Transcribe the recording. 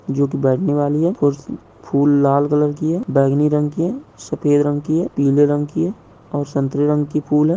जोकि बैठने वाली है फ़ूर्श फ़ूल लाल कलर की है बैंगनी रंग की है सफ़ेद रंग की है पीले रंग की है और संतरे रंग की फूल है